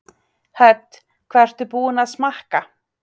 Hödd: Hvað ertu búin að smakka?